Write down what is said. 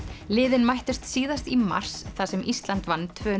liðin mættust síðast í mars þar sem Ísland vann tvö